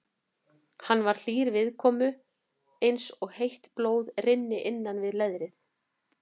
Hann var hlýr viðkomu eins og heitt blóð rynni innan við leðrið.